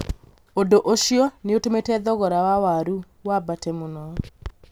ũndũ ũcio nĩ ũtũmĩte thogora wa warũi wambate mũno.